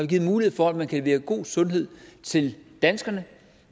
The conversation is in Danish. givet mulighed for at man kan levere god sundhed til danskerne